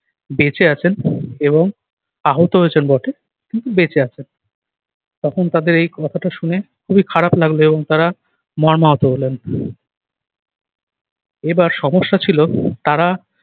বেঁচে আছেন এবং আহত হয়েছেন বটে কিন্তু বেঁচে আছেন। তখন তাদের এই কথাটা শুনে খুবই খারাপ লাগলো এবং তারা মর্মাহত হলেন। এবার সমস্যা ছিল তারা